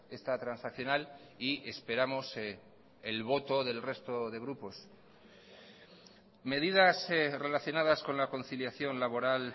esta transaccional y esperamos el voto del resto de grupos medidas relacionadas con la conciliación laboral